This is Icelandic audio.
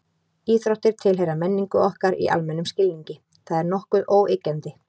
Íþróttir tilheyra menningu okkar í almennum skilningi, það er nokkuð óyggjandi.